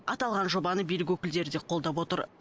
аталған жобаны билік өкілдері де қолдап отыр